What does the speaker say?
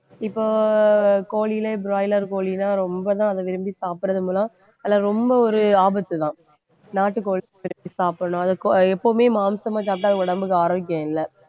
இப்போ கோழியிலே broiler கோழிதான் ரொம்பதான் அதை விரும்பி சாப்பிடுறது மூலம் அதில ரொம்ப ஒரு ஆபத்துதான் நாட்டுக்கோழி சாப்பிடணும் அதை கொ~ எப்பவுமே மாமிசமா சாப்பிட்டா உடம்புக்கு ஆரோக்கியம் இல்லை